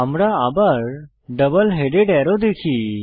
আমরা আবার একটি ডাবল হেডেড অ্যারো দেখি